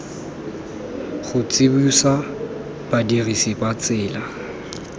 go tsibosa badirisi ba tsela